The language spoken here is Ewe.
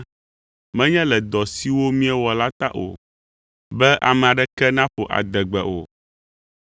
menye le dɔ siwo miewɔ la ta o, be ame aɖeke naƒo adegbe o.